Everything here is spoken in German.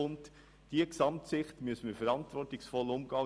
Mit dieser Gesamtsicht müssen wir verantwortungsvoll umgehen.